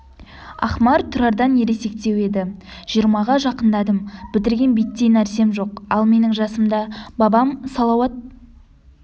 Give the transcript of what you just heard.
ақмар тұрардан ересектеу еді жиырмаға жақындадым бітірген биттей нәрсем жоқ ал менің жасымда бабам салауат